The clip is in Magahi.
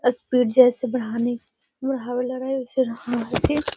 स्पीड जैसे बढ़ाने बढ़ावे लगए